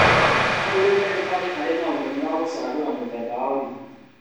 Hau rĩu ndagĩtarĩ arĩ na ũmenyo wa gũcagũra mũthemba ya ũrigiti